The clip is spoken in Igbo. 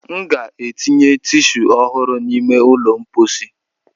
M ga-etinye tishuu ọhụrụ n'ime ụlọ mposi.